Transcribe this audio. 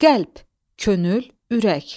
Qəlb, könül, ürək.